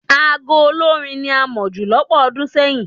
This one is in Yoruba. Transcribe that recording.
Aago olórín ni a mọ̀ jù lọ́pọ̀ ọdún sẹ́yìn.